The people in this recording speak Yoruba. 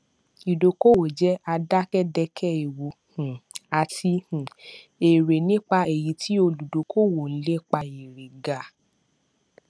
ìdókòówò jẹ àdàkàdekè ewu um àti um èrè nípa èyí tí olùdókòówò ń lépa èrè ga